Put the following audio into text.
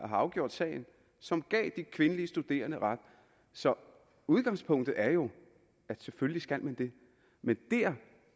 har afgjort sagen og som gav de kvindelige studerende ret så udgangspunktet er jo at selvfølgelig skal man det men der